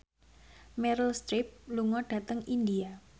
Meryl Streep lunga dhateng India